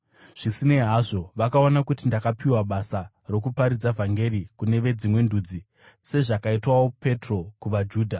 Zvisinei hazvo, vakaona kuti ndakapiwa basa rokuparidza vhangeri kune veDzimwe Ndudzi, sezvakaitwawo Petro kuvaJudha.